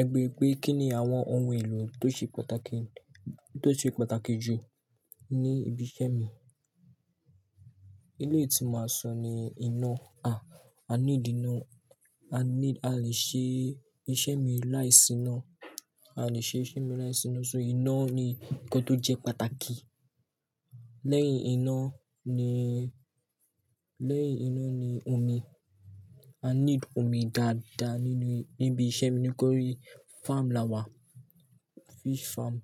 Ẹ beere pé kín ni àwọn ohun èlò tó ṣe pàtàkì, tó ṣe pàtàkì jù ní ibi iṣẹ́ mi. Ilé tí mo máa sọ ni, iná. Ah! A need iná. I need-- a lè ṣe iṣẹ́ mi láìsí iná. A lè ṣe iṣẹ́ mi láìsí iná, so iná ni ǹkan tó jẹ́ pàtàkì. Lẹ́yìn iná ni, lẹ́yìn iná ni omi. Ah need omi dáadáa nínú, níbi iṣẹ́ mi nítorí farm la wà, fish farm.